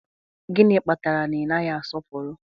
Gịnị kpatara na ị naghị asọpụrụ